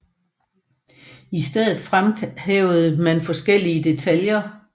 I stedet fremhævede man forskellige detaljer